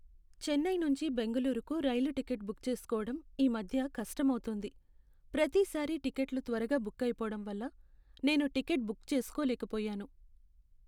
చెన్నై నుంచి బెంగుళూరుకు రైలు టికెట్ బుక్ చేసుకోవడం ఈ మధ్య కష్టమౌతోంది. ప్రతిసారీ టిక్కెట్లు త్వరగా బుక్ అయిపోవడం వల్ల నేను టికెట్ బుక్ చేసుకోలేకపోయాను.